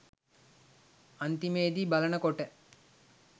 අන්තිමේදි බලනකොට